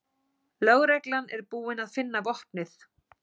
Lögreglan er búin að finna vopnið